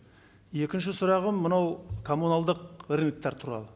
екінші сұрағым мынау коммуналдық рыноктар туралы